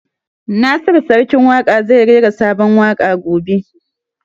Nasiru Sarkin Waƙa zai rera sabon waƙa gobe